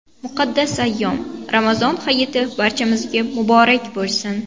Muqaddas ayyom – Ramazon hayiti barchamizga muborak bo‘lsin!